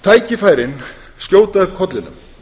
tækifærin skjóta upp kollinum